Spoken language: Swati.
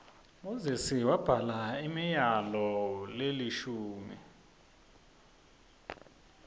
moses wabhala imiyalol lekishimi